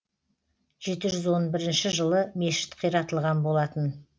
жеті жүз он бірінші жылы мешіт қиратылған болатын